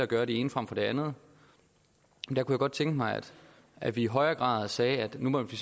gøre det ene frem for det andet jeg kunne godt tænke mig at vi i højere grad siger at nu må vi